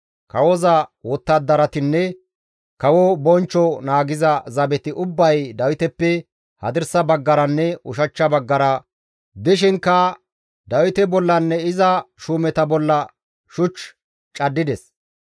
Kawoza wottadaratinne kawo bonchcho naagiza zabeti ubbay Dawiteppe hadirsa baggaranne ushachcha baggara dishinkka Dawite bollanne iza shuumeta bolla shuch caddides.